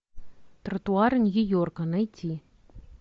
тротуары нью йорка найти